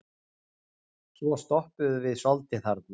Svo stoppuðum við soldið þarna.